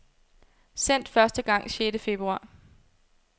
Sendt første gang sjette februar.